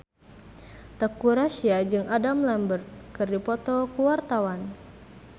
Teuku Rassya jeung Adam Lambert keur dipoto ku wartawan